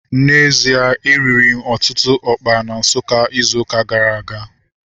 N'ezie, e riri m ọtụtụ ọkpa na Nsukka izu ụka gara aga